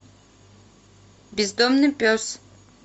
бездомный пес